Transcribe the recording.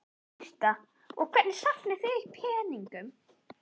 Birta: Og hvernig safnið þið peningum?